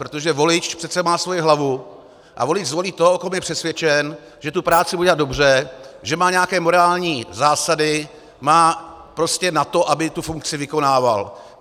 Protože volič přece má svoji hlavu a volič zvolí toho, o kom je přesvědčen, že tu práci bude dělat dobře, že má nějaké morální zásady, má prostě na to, aby tu funkci vykonával.